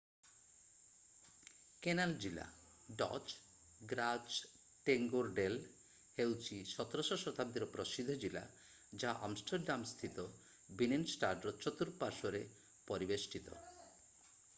Canal ଜିଲ୍ଲା Dutch: ଗ୍ରାଚଟେଙ୍ଗୋର୍ଡେଲ୍ ହେଉଛି 17ଶ- ଶତାବ୍ଦୀର ପ୍ରସିଦ୍ଧ ଜିଲ୍ଲା ଯାହା ଆମଷ୍ଟର୍ଡାମ୍ ସ୍ଥିତ ବିନେନଷ୍ଟାଡ୍‌ର ଚତୁର୍ପାଶ୍ୱରେ ପରିବେଷ୍ଟିତ।